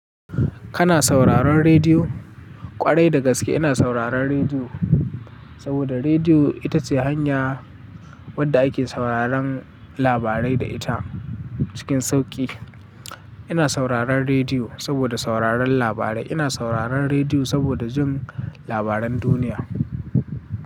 Kana sauraron rediyo? Kwarai da gaskiya ina sauraron rediyo, saboda rediyo ita ce hanya wadda ake sauraron labarai da ita cikin sauƙi. Ina sauraron rediyo saboda sauraron labarai. Ina sauraron rediyo saboda jin labaran duniya.